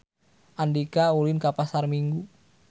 Andika ulin ka Pasar Minggu